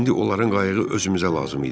İndi onların qayığı özümüzə lazım idi.